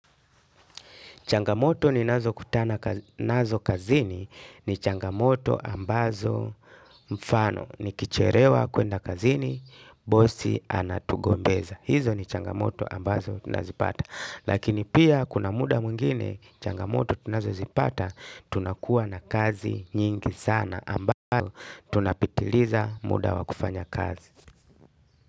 Changamoto ninazokutana nazo kazini ni changamoto ambazo, mfano, nikichelewa kwenda kazini, bosi anatugombeza. Hizo ni changamoto ambazo nazipata. Lakini pia kuna muda mwingine changamoto tunazipata, tunakuwa na kazi nyingi sana ambazo tunapitiliza muda wa kufanya kazi.